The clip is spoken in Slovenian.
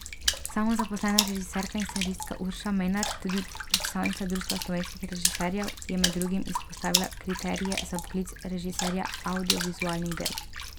Samozaposlena režiserska in scenaristka Urša Menart, tudi predstavnica Društva slovenskih režiserjev, je med drugim izpostavila kriterije za poklic režiserja avdiovizualnih del.